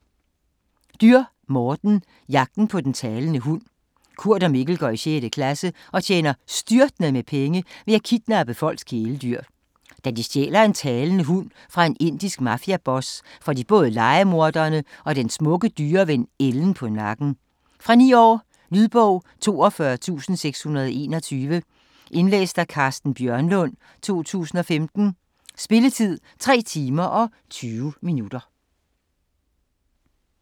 Dürr, Morten: Jagten på den talende hund Kurt og Mikkel går i 6. klasse og tjener styrtende med penge ved at kidnappe folks kæledyr. Da de stjæler en talende hund fra en indisk mafiaboss, får de både lejemordere og den smukke dyreven, Ellen på nakken. Fra 9 år. Lydbog 42621 Indlæst af Carsten Bjørnlund, 2015. Spilletid: 3 timer, 20 minutter.